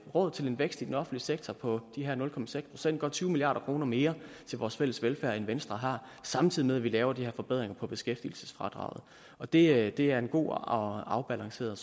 råd til en vækst i den offentlige sektor på de her nul procent godt tyve milliard kroner mere til vores fælles velfærd end venstre har samtidig med at vi laver de her forbedringer på beskæftigelsesfradraget og det det er en god og afbalanceret